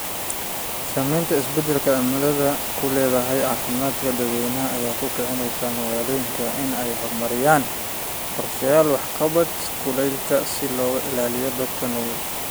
Saamaynta isbeddelka cimiladu ku leedahay caafimaadka dadwaynaha ayaa ku kicinaysa magaalooyinka inay horumariyaan qorshayaal waxqabad kulaylka si loo ilaaliyo dadka nugul.